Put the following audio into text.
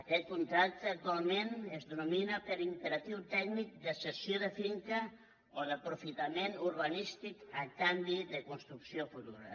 aquest contracte actualment es denomina per imperatiu tècnic de cessió de finca o d’aprofitament urbanístic a canvi de construcció futura